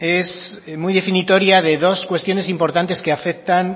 es muy definitoria de dos cuestiones importantes que afectan